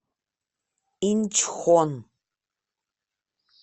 инчхон